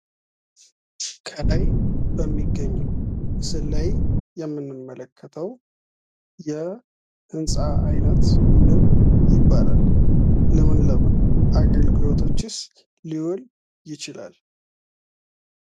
ከላይ በሚገኘው ምስል ላይ የምንመለከተው የህንፃ አይነት ምን ይባላል? ለምን ለምን አገልግሎቶችስ ሊውል ይችላል?